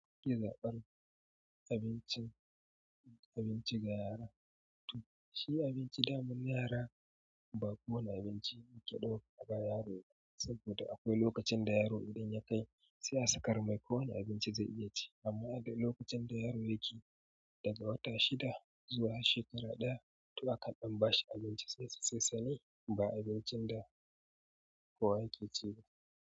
Yi zaɓen abincin, abinci ga yara. To shi abinci daman yara ba kowani abinci ake ɗauka a bawa yaro ba saboda akwai lokacin da yaro idan ya kai sai a sakarmai ko wani abinci zai iya ci amma da lokacin da yaro yake daga wata shida zuwa shekara ɗaya to aka ɗan bashi abinci saisasaisa ne ba abincin da kowa yake ci ba.